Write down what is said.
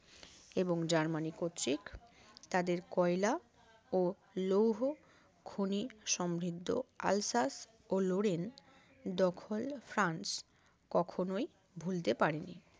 এবং জার্মানি কর্তৃক তাদের কয়লা ও লৌহ খনি সমৃদ্ধ আলসাস ও লরেন দখল ফ্রান্স কখনোই ভুলতে পারেনি